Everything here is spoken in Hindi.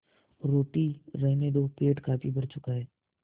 रोटी रहने दो पेट काफी भर चुका है